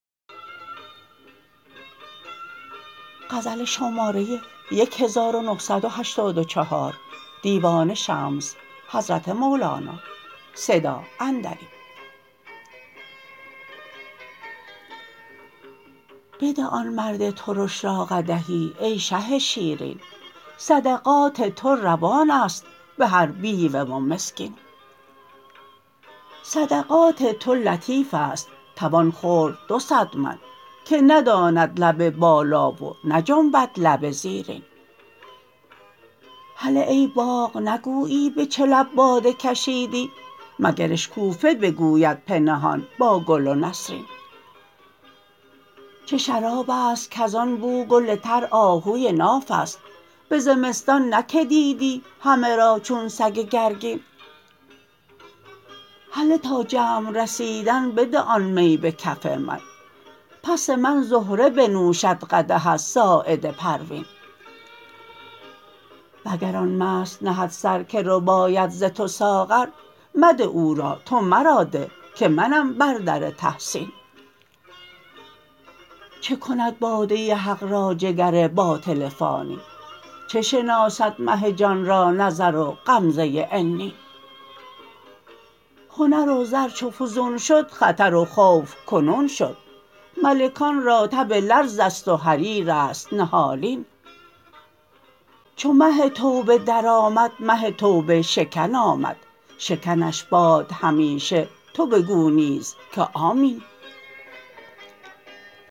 بده آن مرد ترش را قدحی ای شه شیرین صدقات تو روان است به هر بیوه و مسکین صدقات تو لطیف است توان خورد دو صد من که نداند لب بالا و نجنبد لب زیرین هله ای باغ نگویی به چه لب باده کشیدی مگر اشکوفه بگوید پنهان با گل و نسرین چه شراب است کز آن بو گل تر آهوی ناف است به زمستان نه که دیدی همه را چون سگ گرگین هله تا جمع رسیدن بده آن می به کف من پس من زهره بنوشد قدح از ساعد پروین وگر آن مست نهد سر که رباید ز تو ساغر مده او را تو مرا ده که منم بر در تحسین چه کند باده حق را جگر باطل فانی چه شناسد مه جان را نظر و غمزه عنین هنر و زر چو فزون شد خطر و خوف کنون شد ملکان را تب لرز است و حریر است نهالین چو مه توبه درآمد مه توبه شکن آمد شکنش باد همیشه تو بگو نیز که آمین